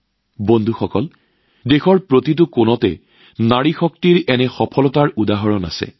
বন্ধুসকল নাৰী শক্তিৰ এনে সফলতা দেশৰ চুককোণত উপস্থিত